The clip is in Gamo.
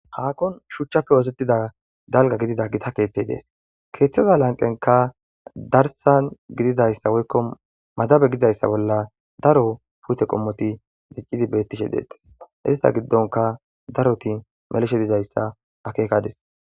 Hakkon shuchchafe wotettida dalga gidida gita keeththey dees keeththeza lanqenka darsan gididayssa woykko madabe gizayssa bolla daro puyte qommoti ziccidi beettishe deettas ista giddonka daroti melishe dizayssa akeekadis.